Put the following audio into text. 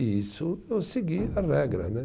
E isso eu segui a regra né